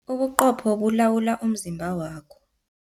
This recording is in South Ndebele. Ubuqopho bulawula umzimba wakho.